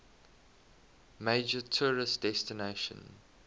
major tourist destination